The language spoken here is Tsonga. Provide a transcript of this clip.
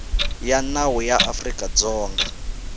ya nawu ya afrika dzonga